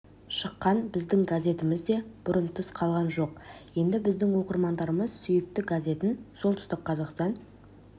шыққан біздің газетіміз де бұдан тыс қалған жоқ енді біздің оқырмандарымыз сүйікті газетін солтүстік қазақстан